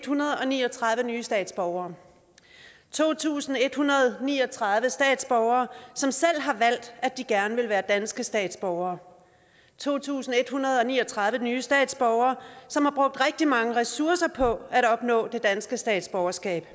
hundrede og ni og tredive nye statsborgere to tusind en hundrede og ni og tredive statsborgere som selv har valgt at de gerne vil være danske statsborgere to tusind en hundrede og ni og tredive nye statsborgere som har brugt rigtig mange ressourcer på at opnå det danske statsborgerskab